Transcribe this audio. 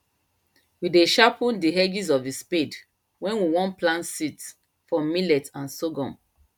we dey sharpen the edges of the spade when we won plant seeds for millet and sorghum